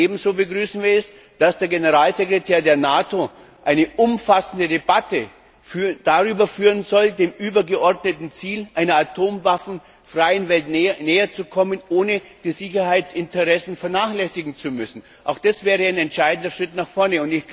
Ebenso begrüßen wir es, dass der Generalsekretär der NATO eine umfassende Debatte darüber führen soll, dem übergeordneten Ziel einer atomwaffenfreien Welt näher zu kommen, ohne die Sicherheitsinteressen vernachlässigen zu müssen. Auch das wäre ein entscheidender Schritt nach vorne.